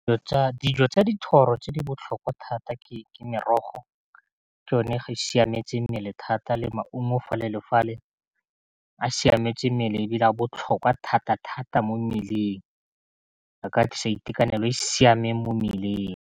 Dijo tsa dithoro tse di botlhokwa thata ke merogo ke yone e siametse mmele thata le maungo fale le fale, a siametse mmele e bile a botlhokwa thata-thata mo mmeleng, a ka tlisa itekanelo e siameng mo mmeleng.